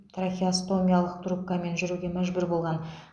трахеостомиялық трубкамен жүруге мәжбүр болған